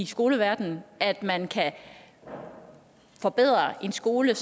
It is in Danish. skoleverdenen at man kan forbedre en skole